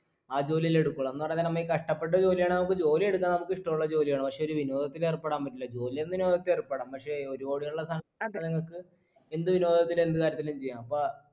ആ ജോലിയല്ലെ എടുക്കുള്ളു എന്ന് പറയന്നേരം നമ്മ ഈ കഷ്ടപ്പെട്ട് ജോലിയാണേൽ ജോലിയെടുക്കാൻ നമ്മുക്കിഷ്ട്ടുള്ള ജോലിയാണ് പക്ഷേ ഒരു വിനോദത്തിൽ ഏർപ്പെടാൻ പറ്റില്ല ജോലിയന്നിൻ നമുക്ക് ഏർപ്പെടാം പക്ഷേ ഒരു കൂടിയുള്ള സാ ഞങ്ങൾക്ക് എന്ത് വിനോദത്തിലും എന്ത് കാര്യത്തിലും ചെയ്യാം അപ്പാ